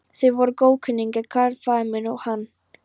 Þeir voru góðkunningjar, karl faðir minn og hann.